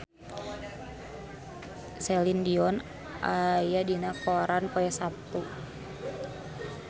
Celine Dion aya dina koran poe Saptu